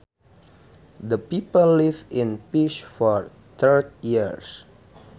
The people lived in peace for thirty years